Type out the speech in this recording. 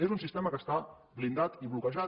és un sistema que està blindat i bloquejat